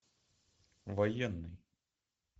военный